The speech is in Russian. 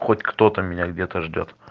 хоть кто-то меня где-то ждёт